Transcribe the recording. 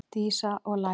Dísa: Og læra.